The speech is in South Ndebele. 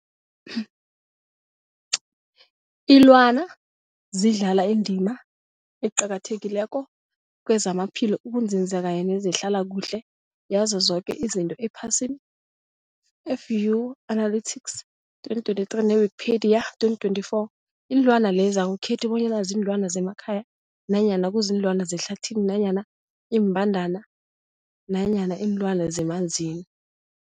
Ilwana zidlala indima eqakathekileko kezamaphilo, ukunzinza kanye nezehlala kuhle yazo zoke izinto ephasini, Fuanalytics 2023, ne-Wikipedia 2024. Iinlwana lezi akukhethi bonyana ziinlwana zemakhaya nanyana kuziinlwana zehlathini nanyana iimbandana nanyana iinlwana zemanzini.